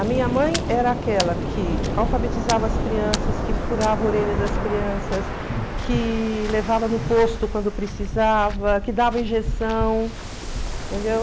A minha mãe era aquela que alfabetizava as crianças, que furava a orelha das crianças, que levava no posto quando precisava, que dava injeção, entendeu?